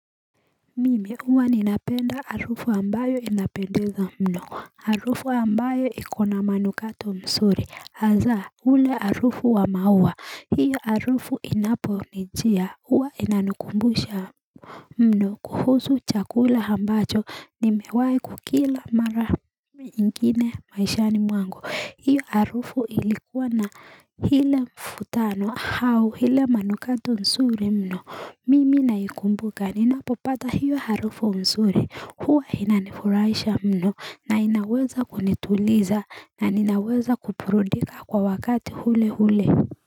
Mimi uwa ninapenda arufu ambayo inapendeza mno arufu ambayo ikona manukato msuri hazaa ule arufu wa mauwa hiyo arufu inapo nijia uwa inanukumbusha mno kuhusu chakula hambacho nimewai kukila mara ingine maishani mwangu hiyo harufu ilikuwa na hile mfutano hau hile manukato msuri mno mimi naikumbuka ninapopata hiyo harufu msuri huwa inanifuraisha mno na inaweza kunituliza na inaweza kuprudika kwa wakati hule hule.